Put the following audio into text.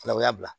Fana o y'a bila